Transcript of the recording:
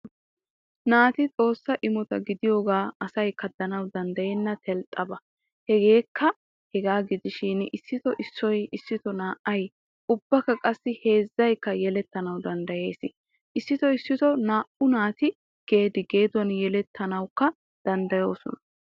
Naati xossaa imotaa gidiyooge asay kadanawu danddayena telxxaba. Hegekka hegaa gidishin isito issoy, issito na''ay, ubbaqassi heezzaykka yelettanawu danddayees. Issito issito na''u naati gedi geduwaan yeletanawukko dandayosoona.